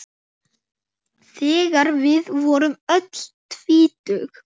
Þegar við vorum öll tvítug.